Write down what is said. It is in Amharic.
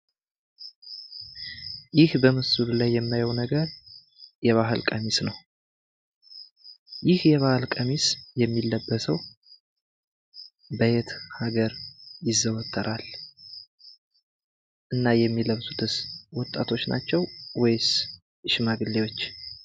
ይህ በምስሉ ላይ የማየው ነገር የባህል ቀሚስ ነው ። ይህ የባህል ቀሚስ የሚለበሳው በየት ሀገር ይዘወተራል? እና የሚለብሱትስ ወጣቶች ናቸው ወይስ ሽማግሌዎች?